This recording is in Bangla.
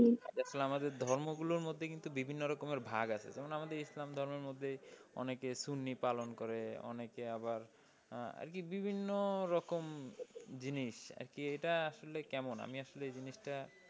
দেখলাম আমাদের ধর্ম গুলোর মধ্যে কিন্তু বিভিন্ন রকমের ভাগ আছে। যেমন ইসলাম ধর্মের মধ্যে অনেকে সুন্নি পালন করে, অনেকেই আবার আর কি বিভিন্ন রকম জিনিস আর কি এটা আসলে কেমন? আমি আসলে এই জিনিস টা,